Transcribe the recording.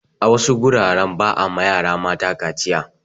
A wasu guraren ba a ma yara mata kaciya.